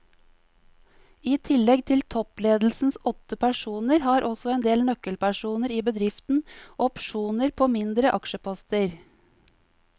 I tillegg til toppledelsens åtte personer har også en del nøkkelpersoner i bedriften opsjoner på mindre aksjeposter.